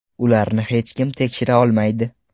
Ularni hech kim tekshira olmaydi.